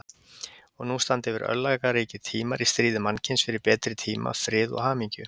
Og nú standa yfir örlagaríkir tímar í stríði mannkyns fyrir betri tíma, frið og hamingju.